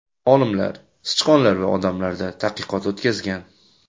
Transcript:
Olimlar sichqonlar va odamlarda tadqiqot o‘tkazgan.